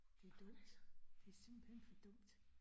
Det dumt, det simpelthen for dumt